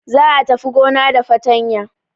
Za a tafi gona da fatanya.